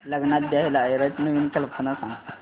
लग्नात द्यायला आहेराच्या नवीन कल्पना सांग